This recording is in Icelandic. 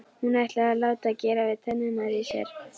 Og hún ætlaði að láta gera við tennurnar í sér.